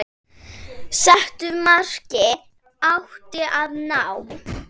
Settu marki átti að ná.